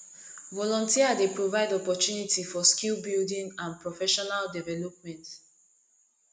volunteer dey provide opportunity for skill building and professional development